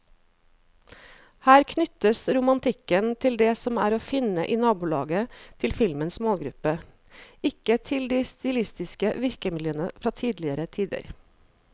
Her knyttes romantikken til det som er å finne i nabolaget til filmens målgruppe, ikke til de stilistiske virkemidlene fra tidligere tider.